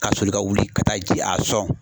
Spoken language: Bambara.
Ka soli ka wuli ka taa ji a sɔn.